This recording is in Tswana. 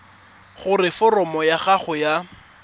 gore foromo ya gago ya